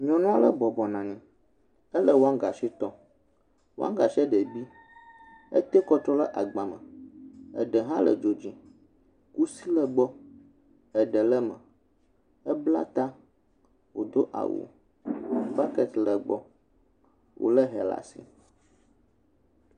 Nyɔnua ɖe bɔbɔna nyi. Ele wɔgasi tɔ. Wɔgasi ɖe bi. Ete kɔ trƒ ɖe agba me. Eɖe hã le dzo dzi. Wo si le gbɔ eɖe le me. Ebla ta wodo awu. Buket le gbɔ. Wole hɛ ɖe asi.